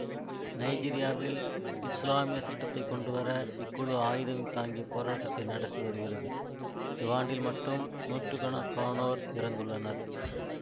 நைஜீரியாவில் இசுலாமியச் சட்டத்தை கொண்டு வர இக்குழு ஆயுதம் தாங்கிய போராட்டத்தை நடத்தி வருகிறது இவ்வாண்டில் மட்டும் நூற்று கணக்கானோர் இறந்துள்ளனர்